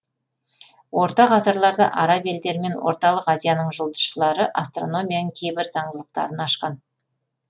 орта ғасырларда араб елдері мен орталық азияның жұлдызшылары астрономияның кейбір заңдылықтарын ашқан